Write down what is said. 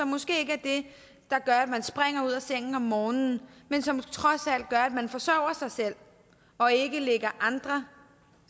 måske ikke det der gør at man springer ud af sengen om morgenen men som trods alt gør at man forsørger sig selv og ikke ligger andre